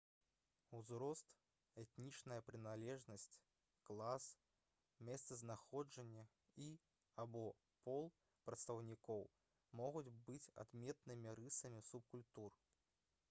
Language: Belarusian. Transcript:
узрост этнічная прыналежнасць клас месцазнаходжанне і або пол прадстаўнікоў могуць быць адметнымі рысамі субкультур